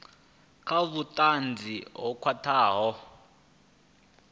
na vhutanzi ho khwathaho ha